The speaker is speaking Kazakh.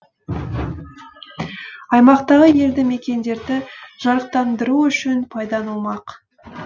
аймақтағы елді мекендерді жарықтандыру үшін пайдаланылмақ